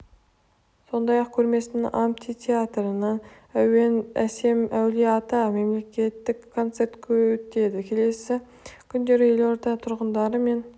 сондай-ақ көрмесінің амфитеатрында әуені әсем әулие ата атты мерекелік концерт өтеді келесі күндері елорда тұрғындары мен